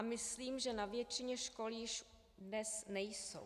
A myslím, že na většině škol již dnes nejsou.